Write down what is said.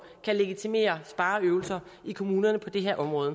kan legitimere spareøvelser i kommunerne på det her område